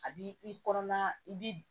A b'i i kɔnɔna i bi